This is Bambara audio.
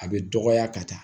A bɛ dɔgɔya ka taa